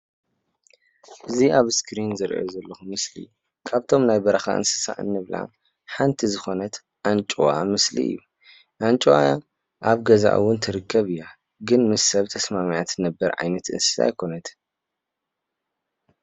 እዚ ኣብ እስክሪን ዝሪኦ ዘለኹ ምስሊ ካብምቶም ናይ ብረኻ እንስሳ እንብላ ሓንቲ ዝኾነት ኣንጭዋ ምስሊ እዩ። ኣንጭዋ ኣብ ገዛ እዉን ትርከብ እያ። ግን ምስ ሰብ ተስማዕሚዓ ትነብር ዓይነት እንስሳ ኣይኮነትን።